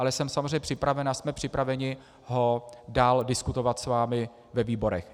Ale jsem samozřejmě připraven a jsme připraveni ho dál diskutovat s vámi ve výborech.